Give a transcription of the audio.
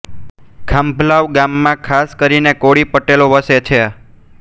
ખાંભલાવ ગામમાં ખાસ કરીને કોળી પટેલો વસે છે